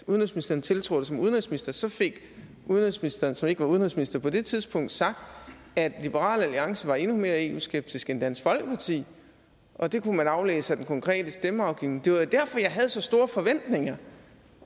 udenrigsministeren tiltrådte som udenrigsminister så fik udenrigsministeren som ikke var udenrigsminister på det tidspunkt sagt at liberal alliance var endnu mere eu skeptisk end dansk folkeparti og det kunne man aflæse af den konkrete stemmeafgivning det var jo derfor jeg havde så store forventninger